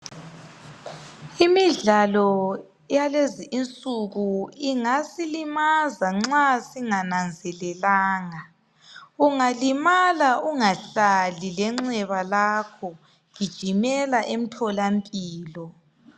Imidlalo yalezi insuku ingasilimaza nxa singananzelelanga. Ungalimala ungahlali lenxeba lakho gijimela emtholampilo